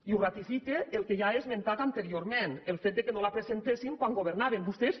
i ho ratifica el que ja he esmentat anteriorment el fet que no la presentessin quan governaven vostès